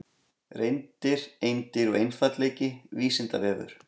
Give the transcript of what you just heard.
Reyndir, eindir og einfaldleiki, Vísindavefur.